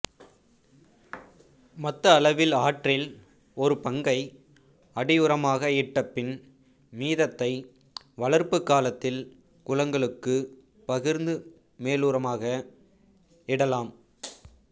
மொத்த அளவில் ஆறில் ஒரு பங்கை அடியுரமாக இட்ட பின் மீதத்தை வளர்ப்புக் காலத்தில் குளங்களுக்கு பகிர்ந்து மேலுரமாக இடலாம்